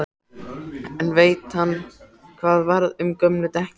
En veit hann hvað varð um gömlu dekkin?